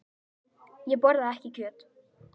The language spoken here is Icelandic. Ég borða ekki kjöt.